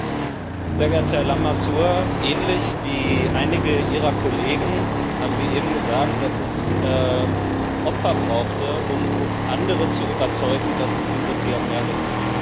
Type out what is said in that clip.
Sehr geehrter Herr Lamassoure! Ähnlich wie einige Ihrer Kollegen haben Sie eben gesagt, dass es Opfer brauchte, um andere zu überzeugen, dass es diese PNR Richtlinie braucht.